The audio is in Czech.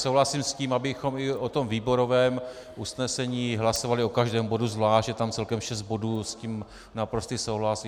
Souhlasím s tím, abychom i o tom výborovém usnesení hlasovali o každém bodu zvlášť, je tam celkem šest bodů, s tím naprostý souhlas.